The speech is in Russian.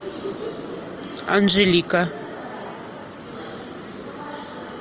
анжелика